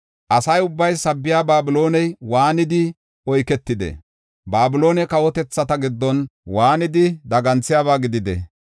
“Asa ubbay sabbiya Babilooney waanidi oyketide! Babilooney kawotethata giddon waanidi daganthiyaba gidide!